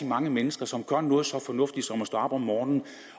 mange mennesker som gør noget så fornuftigt som at stå op om morgenen